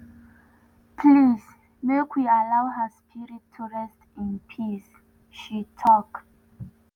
“please make we allow her spirit to rest in peace” she tok.